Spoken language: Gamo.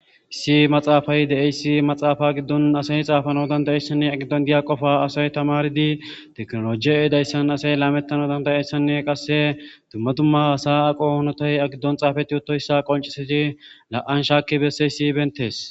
issi maxaafay de7eyssi maxaafa giddon asay xaafano dandayessanne agiddon diya qofa asay tamaridi teknolojiy eedayssan asay laamettana dandayessanne qasse dumma dumma hasa aqo honotay a giddon xaafati uttoyssa qonciseti la7an shaakki besseyssi bentees